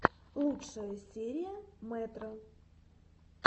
лучшая серия мэтро